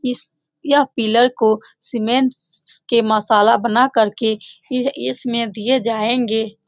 इस यह पिलर को सीमेंट के मसाला बना करके इसमें दिए जायेगे।